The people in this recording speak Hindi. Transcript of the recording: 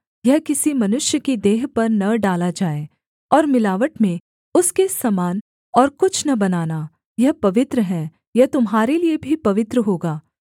यह किसी मनुष्य की देह पर न डाला जाए और मिलावट में उसके समान और कुछ न बनाना यह पवित्र है यह तुम्हारे लिये भी पवित्र होगा